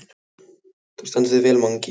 Þú stendur þig vel, Mangi!